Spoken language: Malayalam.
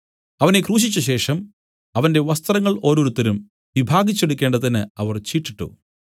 അവനെ ക്രൂശിച്ചശേഷം അവന്റെ വസ്ത്രങ്ങൾ ഓരോരുത്തരും വിഭാഗിച്ച് എടുക്കേണ്ടതിന് അവർ ചീട്ടിട്ടു